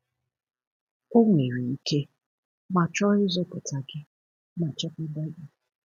O nwere ike, ma chọọ ịzọpụta gị ma chekwaba gị.